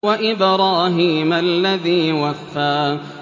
وَإِبْرَاهِيمَ الَّذِي وَفَّىٰ